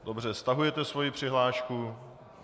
Dobře, stahujete svoji přihlášku.